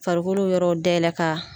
Farikolo yɔrɔw dayɛlɛ ka